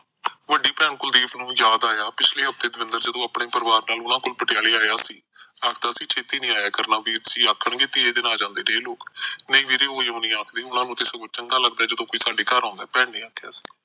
ਵੱਡੀ ਭੈਣ ਕੁਲਦੀਪ ਨੂੰ ਯਾਦ ਆਇਆ ਪਿਛਲੇ ਹਫਤੇ ਦਵਿੰਦਰ ਜਦੋ ਆਪਣੇ ਪਰਿਵਾਰ ਨੂਆ ਕੋਲ ਪਟਿਆਲੇ ਆਇਆ ਤਾਂ ਉਹ ਛੇਤੀ ਨਹੀਂ ਆਇਆ ਕਰਨਾ ਨਿਤੇ ਆਖਣ ਗੇ ਤੀਏ ਦਿਨ ਆ ਜਾਂਦੇ ਨੇ ਇਹ ਲੋਕ ਨਹੀਂ ਵੀਰੇ ਏ ਨਹੀਂ ਆਖ਼ਦੈ ਉਹ ਨੂੰ ਤਾਂ ਸਗੋਂ ਚੰਗਾ ਲੱਗਦਾ ਏ ਜਦੋਂ ਕੋਈ ਸਾਡੇ ਘਰ ਆਉਂਦੇ ਭੈਣ ਨੇ ਆਖਿਆ